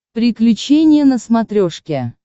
приключения на смотрешке